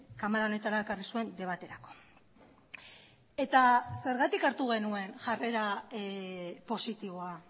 kamara honetara ekarri zuen debaterako eta zergatik hartu genuen jarrera positiboa